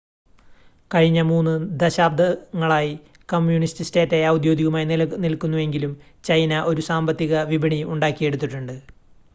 കഴിഞ്ഞ 3 ദശാബ്ദങ്ങളായി കമ്മ്യൂണിസ്റ്റ് സ്റ്റേറ്റായി ഔദ്യോഗികമായി നിലനിൽക്കുന്നുവെങ്കിലും ചൈന ഒരു സാമ്പത്തിക വിപണി ഉണ്ടാക്കിയെടുത്തിട്ടുണ്ട്